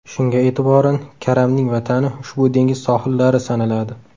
Shunga e’tiboran, karamning vatani ushbu dengiz sohillari sanaladi.